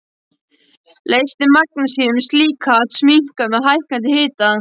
Leysni magnesíum-silíkats minnkar með hækkandi hita.